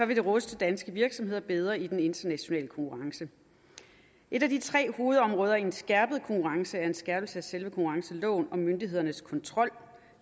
vil det ruste danske virksomheder bedre i den internationale konkurrence et af de tre hovedområder i en skærpet konkurrence er en skærpelse af selve konkurrenceloven om myndighedernes kontrol